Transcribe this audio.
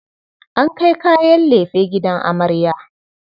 An kai kayan lefe gidan amarya.